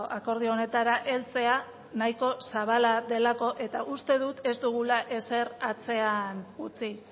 akordio honetara heltzea nahiko zabala delako eta uste dut ez dugula ezer atzean utzi